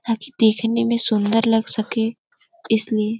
ताकि देखने में सुंदर लग सके इसलिए --